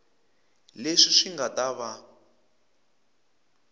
leswi swi nga ta va